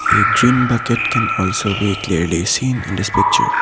a green bucket can also be clearly seen in this picture.